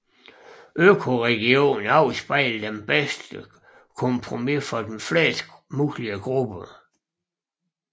Økoregioner afspejler det bedste kompromis for flest mulige grupper